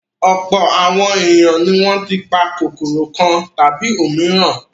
Ọ̀pọ̀ àwọn ènìyàn ni wọ́n ti pa kòkòrò kan tàbí òmíràn.